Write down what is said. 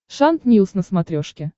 шант ньюс на смотрешке